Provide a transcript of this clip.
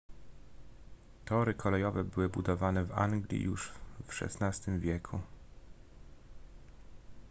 tory kolejowe były budowane w anglii już w xvi wieku